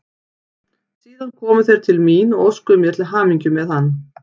Síðan komu þeir til mín og óskuðu mér til hamingju með hann.